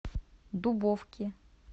дубовки